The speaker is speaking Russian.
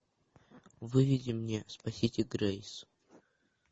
выведи мне спасите грейс